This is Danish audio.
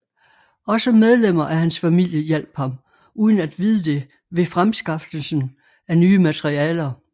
Også medlemmer af hans familie hjalp ham uden at vide det ved fremskaffelsen af nye materialer